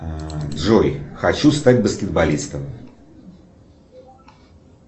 джой хочу стать баскетболистом